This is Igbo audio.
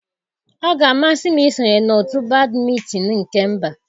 Ọ ga-amasị m isonye na otu badmịtinịị nke mba.